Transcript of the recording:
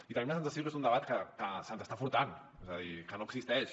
i tenim la sensació que és un debat que se’ns està furtant és a dir que no existeix